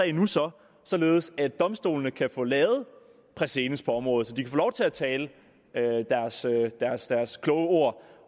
en sag således at domstolene kan få lavet præcedens på området så de kan få lov til at tale og sige deres deres kloge ord